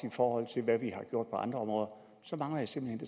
i forhold til hvad vi har gjort på andre områder så mangler jeg simpelt